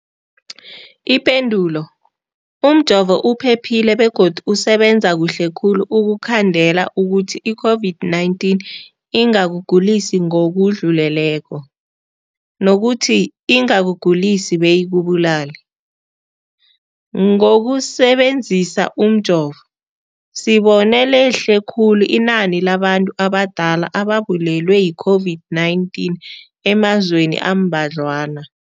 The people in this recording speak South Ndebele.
Ipendulo, umjovo uphephile begodu usebenza kuhle khulu ukukhandela ukuthi i-COVID-19 ingakugulisi ngokudluleleko, nokuthi ingakugulisi beyikubulale. Ngokusebe nzisa umjovo, sibone lehle khulu inani labantu abadala ababulewe yi-COVID-19 emazweni ambadlwana.